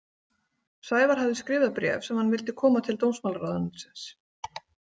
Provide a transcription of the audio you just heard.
Sævar hafði skrifað bréf sem hann vildi koma til dómsmálaráðuneytisins.